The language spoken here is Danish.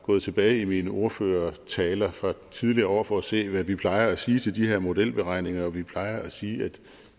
gået tilbage i mine ordførertaler fra tidligere år for at se hvad vi plejer at sige til de her modelberegninger og vi plejer at sige at